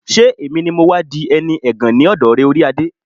ṣé èmi ni mọ́ wá di ẹni ẹ̀gàn lọ́dọ̀ rẹ, orí adé?